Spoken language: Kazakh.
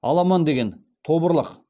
аламан деген тобырлық